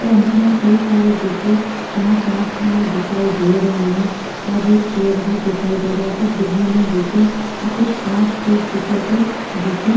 और अंदर में कई सारे जूते जहां कांच में दिखाई दे रही हैं और एक चेयर भी दिखाई दे रहा है कुछ डिब्बे में जूते और कुछ कांच पे स्टीकर पे जूते--